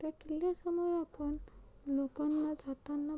त्या किल्ल्या समोर आपण लोकांना जाताना--